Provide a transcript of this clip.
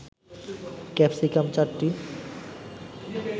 capsicum ৪টি